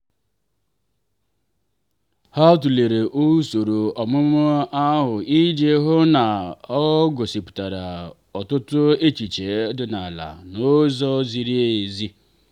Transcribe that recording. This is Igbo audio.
ha tụlere usoro ọmụmụ ahụ iji hụ na ọ ọ gosipụtara ọtụtụ echiche ọdịnala n'ụzọ ziri ezi.